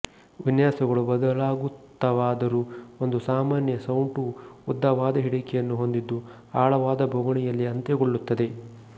ವಿನ್ಯಾಸಗಳು ಬದಲಾಗುತ್ತಾವಾದರೂ ಒಂದು ಸಾಮಾನ್ಯ ಸೌಟು ಉದ್ದವಾದ ಹಿಡಿಕೆಯನ್ನು ಹೊಂದಿದ್ದು ಆಳವಾದ ಬೋಗುಣಿಯಲ್ಲಿ ಅಂತ್ಯಗೊಳ್ಳುತ್ತದೆ